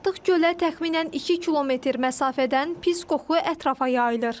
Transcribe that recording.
Artıq gölə təxminən 2 km məsafədən pis qoxu ətrafa yayılır.